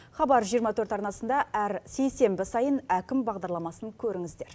хабар жиырма төрт арнасында әр сейсенбі сайын әкім бағдарламасын көріңіздер